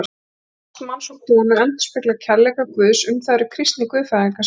Ást manns og konu endurspeglar kærleika Guðs, um það eru kristnir guðfræðingar sammála.